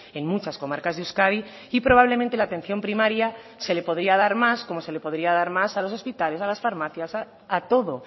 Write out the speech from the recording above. en muchas comarcas de euskadi y probablemente la atención primaria se le podría dar más como se le podría dar más a los hospitales a las farmacias a todo